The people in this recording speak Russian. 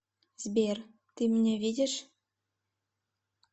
сбер ты меня видишь